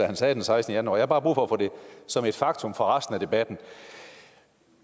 han sagde den sekstende januar har bare brug for at få det som et faktum for resten af debatten